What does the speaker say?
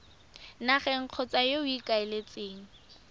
nageng kgotsa yo o ikaeletseng